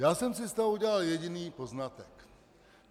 Já jsem si z toho udělal jediný poznatek.